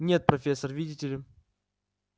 нет профессор видите ли